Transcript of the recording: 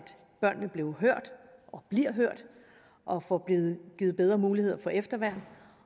børnene blev og bliver hørt og får givet givet bedre muligheder for efterværn